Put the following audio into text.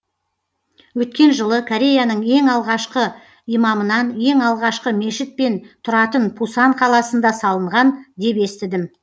өткен жылы кореяның ең алғашқы имамынан ең алғашқы мешіт мен тұратын пусан қаласында салынған деп естідім